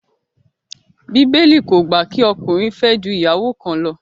Bíbélì kò gbà kí ọkùnrin fẹ́ ju ìyàwó kan lọ